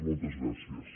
moltes gràcies